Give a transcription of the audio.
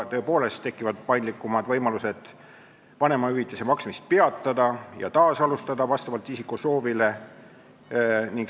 Tõepoolest tekivad paindlikumad võimalused vanemahüvitise maksmist vastavalt isiku soovile peatada ja taasalustada.